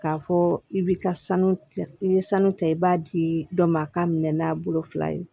K'a fɔ i bi ka sanu tigɛ i ye sanu ta i b'a di dɔ ma a k'a minɛ n'a bolo fila ye